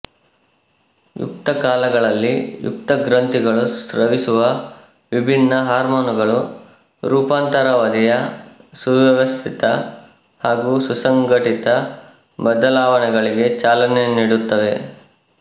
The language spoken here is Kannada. ಯುಕ್ತ ಕಾಲಗಳಲ್ಲಿ ಯುಕ್ತ ಗ್ರಂಥಿಗಳು ಸ್ರವಿಸುವ ವಿಭಿನ್ನ ಹಾರ್ಮೋನುಗಳು ರೂಪಾಂತರಾವಧಿಯ ಸುವ್ಯವಸ್ಥಿತ ಹಾಗೂ ಸುಸಂಘಟಿತ ಬದಲಾವಣೆಗಳಿಗೆ ಚಾಲನೆ ನೀಡುತ್ತವೆ